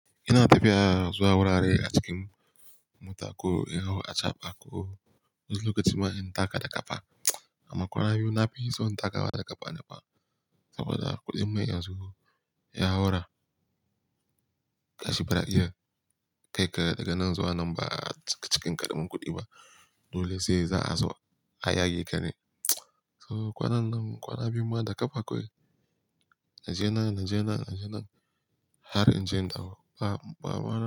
Ina tafiya zuwa wurare a cikin mota ko in hau a chaba ko wani lokaci ma in taka da ƙafa. Amma kwanaki biyu na bi son taka da ƙafa ne fa saboda kuɗin mai yanzu ya haura kashi bara jiya. Kai ka daga nan zuwa nan ba cikin ƙaramin kuɗi ba dole sai za a zo a yage ka ne. So kwanan nan kwana biyu ma da ƙafa kawai. Naje nan, Naje nan, Naje nan. Har in je dauko ba, ba.